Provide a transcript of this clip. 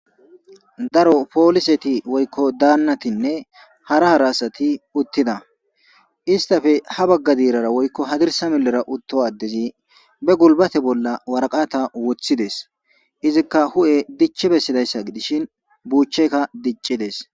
daro pooliseti woykko daannatinne hara harasati uttida istafe ha bagga diirara woykko hadirsa milera utto addezi be gulbate bolla waraqata woththides izikka hu7e dichi bessidayssa gidishin buuchchekka diccides